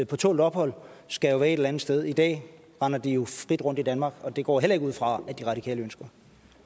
på tålt ophold skal være et eller andet sted i dag render de jo frit rundt i danmark og det går jeg heller ikke ud fra at de radikale ønsker